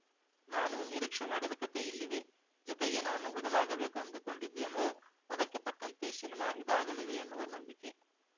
ನಾನು ನಿರೀಕ್ಷೆ ಮಾಡಿದ ಕತೆ ಇಲ್ಲಿದೆ ಜತೆಗೆ ನಾನು ಬದಲಾಗಬೇಕು ಅಂದುಕೊಂಡಿದ್ದೀನೋ ಅದಕ್ಕೆ ತಕ್ಕಂತೆ ಸಿನಿಮಾ ಇದಾಗಲಿದೆ ಎನ್ನುವ ನಂಬಿಕೆ